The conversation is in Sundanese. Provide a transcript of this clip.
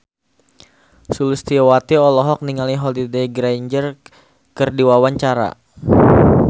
Sulistyowati olohok ningali Holliday Grainger keur diwawancara